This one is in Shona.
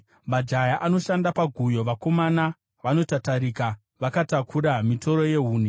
Majaya anoshanda paguyo; vakomana vanotatarika vakatakura mitoro yehuni.